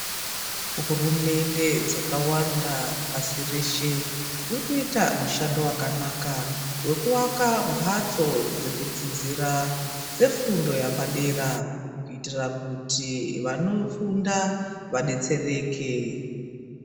Hurumende dzakawanda pasi reshe, dziri kuita mushando wakanaka wekuwaka mbatso dzekudzidzira dzefundo yapadera kuitira kuti vanofunda vadetsereke.